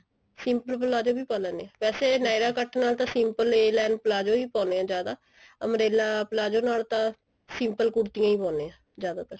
simple palazzo ਵੀ ਪਾ ਲਿੰਦੇ ਹਾਂ ਵੈਸੇ nyra cut ਨਾਲ simple a line palazzo ਹੀ ਪਾਉਂਦੇ ਹਾਂ ਜਿਆਦਾ umbrella palazzo ਨਾਲ ਤਾਂ simple ਕੁੜਤੀਆਂ ਹੀ ਪਾਉਣੇ ਆ ਜਿਆਦਾਤਰ